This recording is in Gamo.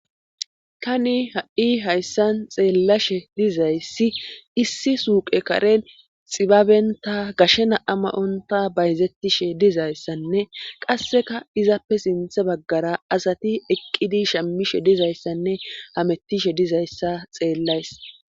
tani ha'i hayssan xeellashe dizayssi issi suuqe karen xibabenta gashe na'a mayonta bayzettishe dizayssanne qasseka izappe sinthe baggara asati eqqidi shammishe dizayssanne hamettishe dizayssa xeellays